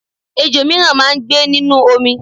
Ejò mìíràn máá ń gbé nínú omi